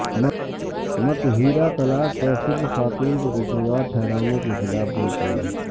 متھیرا طلاق پر صرف خاتون کو قصوروار ٹھہرانے کیخلاف بول پڑیں